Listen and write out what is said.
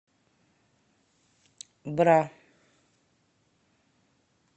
бра